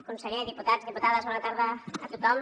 conseller diputats diputades bona tarda a tothom